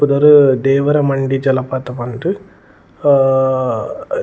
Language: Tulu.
ಪುದರ್ ದೇವರ ಮಂಡಿ ಜಲಪಾತ ಪಂದ್ ಅಹ್ --